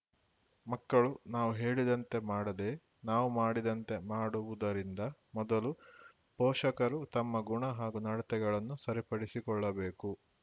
ಮಕ್ಕಳು ನಾವು ಹೇಳಿದಂತೆ ಮಾಡದೇ ನಾವು ಮಾಡಿದಂತೆ ಮಾಡುವುದರಿಂದ ಮೊದಲು ಪೋಷಕರು ತಮ್ಮ ಗುಣ ಹಾಗೂ ನಡೆತೆಗಳನ್ನು ಸರಿಪಡಿಸಕೊಳ್ಳಬೇಕು